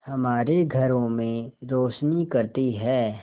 हमारे घरों में रोशनी करती है